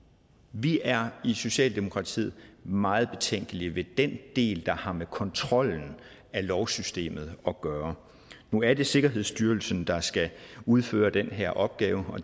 vi er i socialdemokratiet meget betænkelige ved den del der har med kontrollen af lovsystemet at gøre nu er det sikkerhedsstyrelsen der skal udføre den her opgave